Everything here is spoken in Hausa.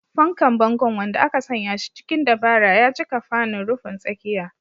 Fankar bangon, wanda aka sanya shi cikin dabara, ya cika fanin rufin tsakiya.